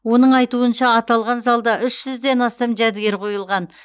оның айтуынша аталған залда үш жүзден астам жәдігер қойылған